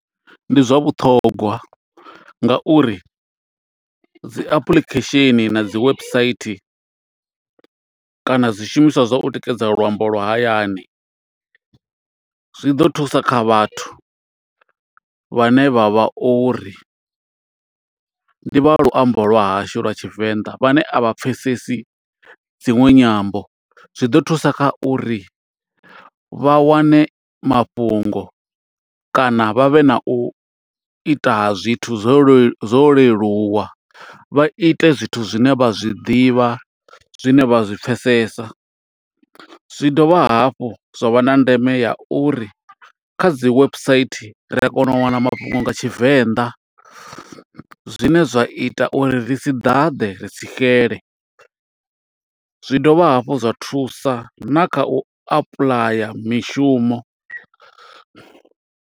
Ndi zwa vhuṱhogwa nga uri dzi application na dzi website, kana zwishumiswa zwa u tikedza luambo lwa hayani. Zwi ḓo thusa kha vhathu vhane vha vha uri, ndi vha luambo lwa hashu lwa Tshivenḓa, vhane a vha pfesesi dziṅwe nyambo. Zwi ḓo thusa kha uri vha wane mafhungo kana vha vhe na u ita zwithu zwo zwo leluwa. Vha ite zwithu zwine vha zwi ḓivha, zwine vha zwi pfesesa. Zwi dovha hafhu zwa vha na ndeme ya uri, kha dzi website ri a kona u wana mafhungo nga Tshivenḓa. Zwine zwa ita uri ri si ḓaḓe, ri si xele. Zwi dovha hafhu zwa thusa na kha u apuḽaya mishumo.